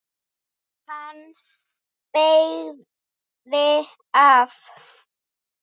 Hann beygði af.